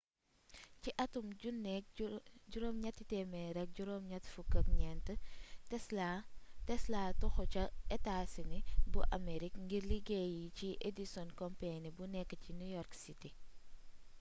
ci atum 1884 telsa toxu ca etaa sini bu amerig ngir liggéeyi ci edison company bi nekk ci new york city